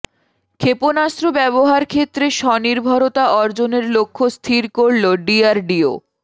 ক্ষেপণাস্ত্র ব্যবস্থার ক্ষেত্রে স্বনির্ভরতা অর্জনের লক্ষ্য স্থির করল ডিআরডিও